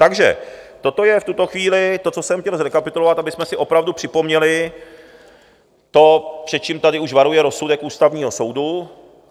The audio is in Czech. Takže toto je v tuto chvíli to, co jsem chtěl zrekapitulovat, abychom si opravdu připomněli to, před čím tady už varuje rozsudek Ústavního soudu.